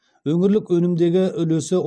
өңірлік өнімдегі үлесі